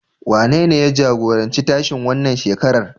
Wanene ya jagoranci tashen wannan shekarar?